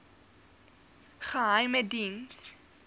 geheimediens